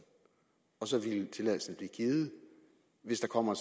og så vil tilladelsen blive givet hvis der kommer